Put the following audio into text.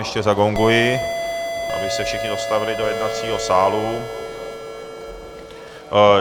Ještě zagonguji, aby se všichni dostavili do jednacího sálu.